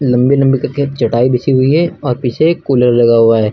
लंबी लंबी करके चटाई बिछी हुई है और पीछे एक कूलर लगा हुआ है।